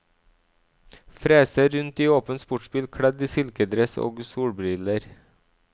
Freser rundt i åpen sportsbil, kledd i silkedress og solbriller.